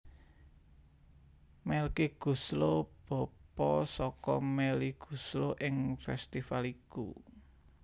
Melky Goeslaw bapa saka Melly Goeslaw ing festifal iku